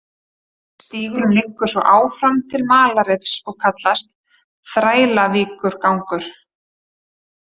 Stígurinn liggur svo áfram til Malarrifs og kallast, Þrælavíkurgangur.